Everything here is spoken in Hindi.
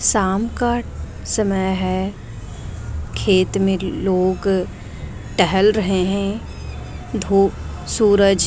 शाम का समय है खेत में लोग टहल रहे हैं धूप सूरज --